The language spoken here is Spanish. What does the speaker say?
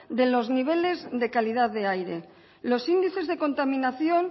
de los niveles de calidad de aire los índices de contaminación